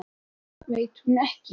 Það veit hún ekki.